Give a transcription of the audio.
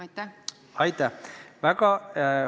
Aitäh!